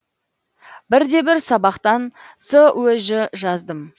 бірде бір сабақтан сөж жаздым